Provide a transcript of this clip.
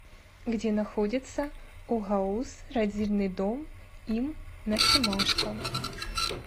где находится огауз родильный дом им на семашко